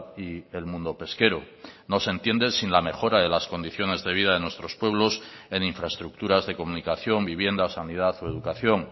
y el mundo pesquero no se entiende sin la mejora de las condiciones de vida de nuestros pueblos en infraestructuras de comunicación vivienda sanidad o educación